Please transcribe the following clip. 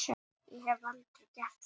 Ég hef aldrei gert það.